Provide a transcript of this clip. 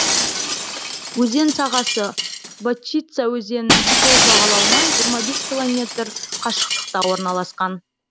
өзен сағасы вотчица өзенінің сол жағалауынан жиырма бес километр қашықтықта орналасқан